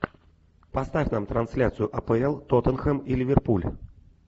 поставь нам трансляцию апл тоттенхэм и ливерпуль